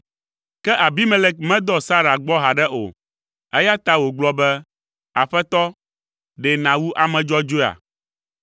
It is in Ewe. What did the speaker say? Ke Abimelek medɔ Sara gbɔ haɖe o, eya ta wògblɔ be, “Aƒetɔ, ɖe nàwu ame dzɔdzɔea?